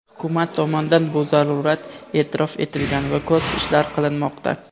Hukumat tomonidan bu zarurat eʼtirof etilgan va ko‘p ishlar qilinmoqda.